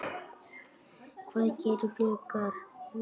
Hvað gera Blikar núna?